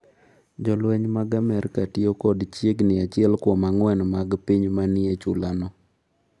Jolweny mag Amerka tiyo kod chiegni achiel kuom ang’wen mag piny ma ni e chulano.